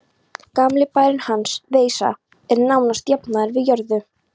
Gamli bærinn hans, Veisa, er nánast jafnaður við jörðu.